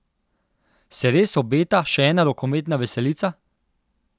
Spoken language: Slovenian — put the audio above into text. Se res obeta še ena rokometna veselica?